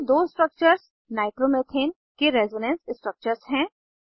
ये दो structures nitromethane के रेजोनेंस स्ट्रक्चर्स हैं